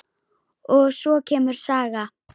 Og svo kemur saga: